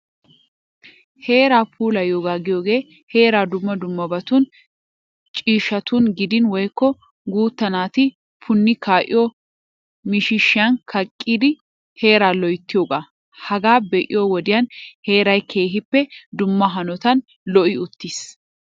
Heeraa puulayiyooga giyogee heeraa dumma dummabatun ciishshatun gidin woykko guutta naati punni kaa'iyo miishshan kaqqidi heeraa loyttiyoogaa hagaa be'iyo wodiyan heeray keehippe dumma hanotan lo'i uttis.